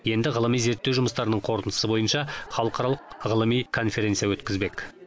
енді ғылыми зерттеу жұмыстарының қорытындысы бойынша халықаралық ғылыми конференция өткізбек